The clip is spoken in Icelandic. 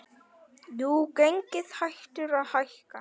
Jú, gengið hættir að hækka.